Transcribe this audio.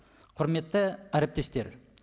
құрметті әріптестер